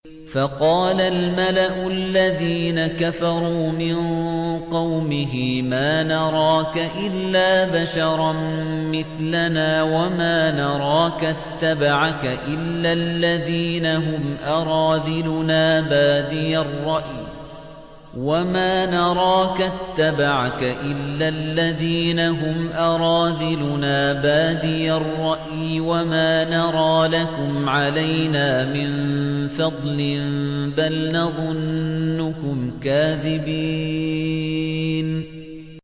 فَقَالَ الْمَلَأُ الَّذِينَ كَفَرُوا مِن قَوْمِهِ مَا نَرَاكَ إِلَّا بَشَرًا مِّثْلَنَا وَمَا نَرَاكَ اتَّبَعَكَ إِلَّا الَّذِينَ هُمْ أَرَاذِلُنَا بَادِيَ الرَّأْيِ وَمَا نَرَىٰ لَكُمْ عَلَيْنَا مِن فَضْلٍ بَلْ نَظُنُّكُمْ كَاذِبِينَ